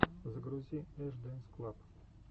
загрузи эш дэнс клаб